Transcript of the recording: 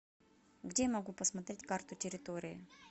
где я могу посмотреть карту территории